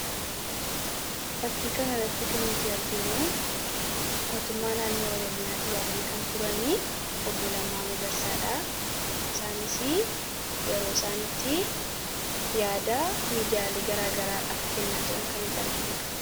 Fakkii kana irratti kan nuti arginu mootummaa naannoo oroomiyaa duraanii kan turanii obbo Lammaa magarsaadha . Isaanis yeroo isaan itti yaada miidiyaalee garaagaraadhaaf kennaa jiran kan itti arginudha.